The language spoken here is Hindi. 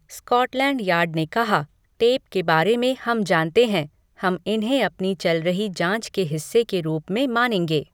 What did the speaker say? स्कॉटलैंड यार्ड ने कहा, "टेप के बारे में हम जानते हैं, हम इन्हें अपनी चल रही जाँच के हिस्से के रूप में मानेंगे"।